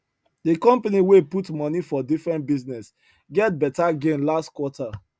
the company wey put money for different business get better gain last quarter